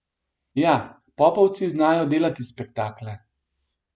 Ja, popovci znajo delati spektakle.